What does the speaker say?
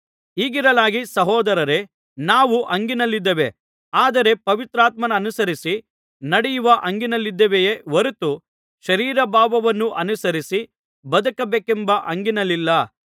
ಹೀಗಿರಲಾಗಿ ಸಹೋದರರೇ ನಾವು ಹಂಗಿನಲ್ಲಿದ್ದೇವೆ ಆದರೆ ಪವಿತ್ರಾತ್ಮನ್ನನುಸರಿಸಿ ನಡೆಯುವ ಹಂಗಿನಲ್ಲಿದ್ದೇವೆಯೇ ಹೊರತು ಶರೀರಭಾವವನ್ನು ಅನುಸರಿಸಿ ಬದುಕಬೇಕೆಂಬ ಹಂಗಿನಲಿಲ್ಲ